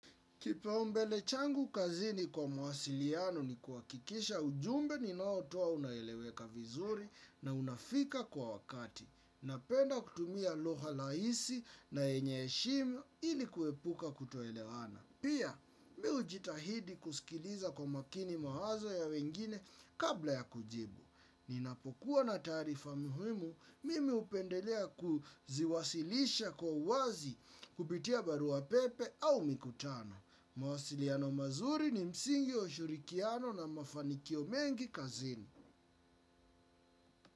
Kipaumbele changu kazini kwa mawasiliano ni kuhakikisha ujumbe ninaotoa unaeleweka vizuri na unafika kwa wakati. Napenda kutumia lugha rahisi na yenye heshimu ili kuepuka kutoelewana. Pia, mi hujitahidi kusikiliza kwa makini mawazo ya wengine kabla ya kujibu. Ninapokuwa na taarifa muhimu mimi, hupendelea kuziwasilisha kwa uwazi kupitia barua pepe au mikutano. Mawasiliano mazuri ni msingi wa ushirikiano na mafanikio mengi kazini.